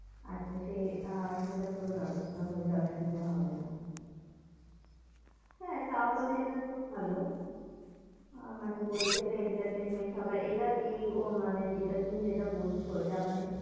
আচ্ছা সেই আহ সেটা পুরো ব্যবস্থা হয় যাবে অসুবিধা হবে না। হ্যাঁ তাহলে এটা তো ভালো। আহ মানে বলছে যে, entertainment হওয়ার এটা এই মানে যেটা তুমি যেটা বলছো এটা মানে